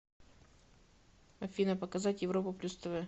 афина показать европа плюс тв